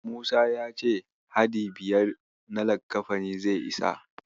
Musa ya ce hadi biyar na lakkafani zai isa.